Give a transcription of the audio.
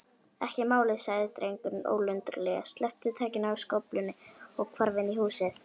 Ekki málið- sagði drengurinn ólundarlega, sleppti takinu á skóflunni og hvarf inn í húsið.